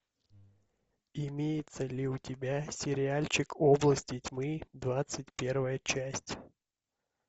имеется ли у тебя сериальчик области тьмы двадцать первая часть